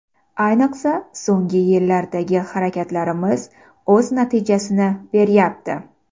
Ayniqsa, so‘nggi yillardagi harakatlarimiz o‘z natijasini beryapti.